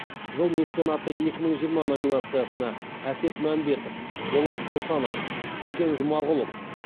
жыл меценаты екі мың жиырма номинациясына әсет мәмбетов болат бошанов төкен жұмағұлов